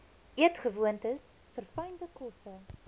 eetgewoontes verfynde kosse